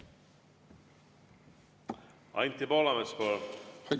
Anti Poolamets, palun!